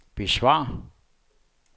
besvar